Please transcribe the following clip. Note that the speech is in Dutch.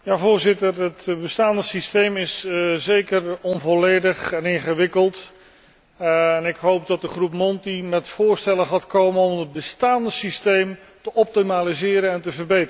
Het bestaande systeem is zeker onvolledig en ingewikkeld en ik hoop dat de groep Monti met voorstellen komt om het bestaande systeem te optimaliseren en te verbeteren.